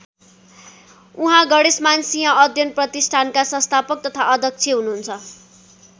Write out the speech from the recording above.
उहाँ गणेशमान सिंह अध्ययन प्रतिष्‍ठानका संस्थापक तथा अध्यक्ष हुनुहुन्छ।